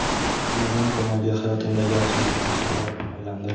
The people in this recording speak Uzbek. Ularning ko‘magi hayotimdagi asosiy narsaga aylandi.